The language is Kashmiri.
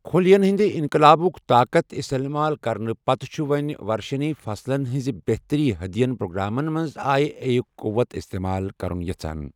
خلیین ہندِ انقلابٗك طاقت استمال كرنہٕ پتہٕ چھٗ وو٘نہِ ورشنے فصلن ہنزِ بہتری ہدین پروگرامن منز آیہ اے ہٗك قوٗوت استمال كرٗن یژھان ۔